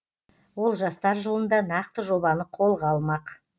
ол жастар жылында нақты жобаны қолға алмақ